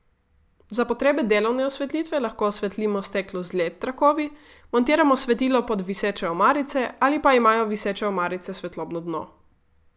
Za potrebe delovne osvetlitve lahko osvetlimo steklo z led trakovi, montiramo svetilo pod viseče omarice ali pa imajo viseče omarice svetlobno dno.